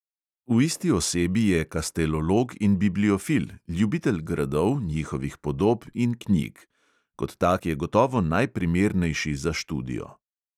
V isti osebi je kastelolog in bibliofil, ljubitelj gradov, njihovih podob in knjig; kot tak je gotovo najprimernejši za študijo.